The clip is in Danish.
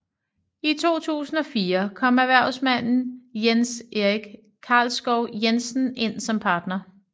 I 2004 kom erhvervsmanden Jens Erik Karlskov Jensen ind som partner